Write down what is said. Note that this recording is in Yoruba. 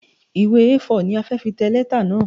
Ìwé A4 ni a fi tẹ letter náà.